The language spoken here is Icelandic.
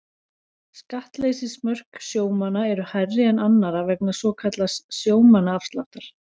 Skattleysismörk sjómanna eru hærri en annarra vegna svokallaðs sjómannaafsláttar.